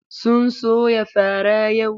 Sun soya fara yau.